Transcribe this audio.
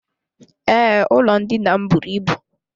Ee, ụlọ ndina m bụrụ ịbụ.